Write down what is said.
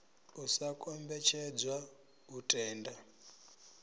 u sa kombetshedzwa u tenda